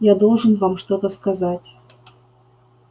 я должен вам что-то сказать